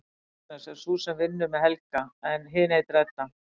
Agnes er sú sem vinnur með Helga en hin heitir Edda.